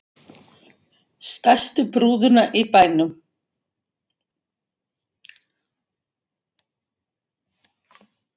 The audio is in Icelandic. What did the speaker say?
Stærstu brúðuna í bænum.